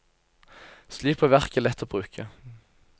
Slik blir verket lett å bruke.